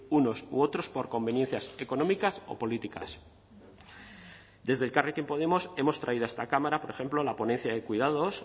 unos u otros por conveniencias económicas o políticas desde elkarrekin podemos hemos traído a esta cámara por ejemplo la ponencia de cuidados